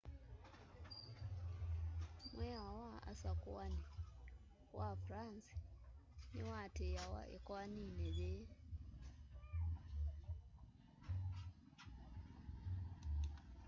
mwiao wa usakuani wa france niwatiiawa ikoanini yii